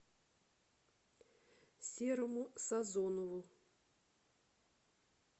серому сазонову